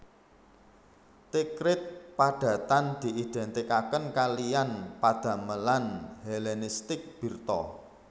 Tikrit padhatan diidentikaken kaliyan padhaleman Helenistik Birtha